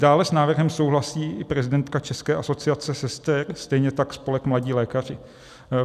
Dále s návrhem souhlasí i prezidentka České asociace sester, stejně tak spolek Mladí lékaři.